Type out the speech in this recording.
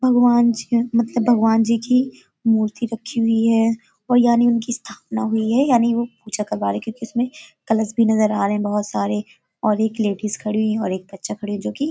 भगवान जी हैं मतलब भगवान जी की मूर्ति रखी हुई है और यानी उनकी स्थापना हुई है यानी वो पूजा करवा रहे हैं क्योंकि उसमें कलश भी नजर आ रहे हैं बहुत सारे और एक लेडिज खड़ी हुई है और एक बच्चा खड़ा है जोकि --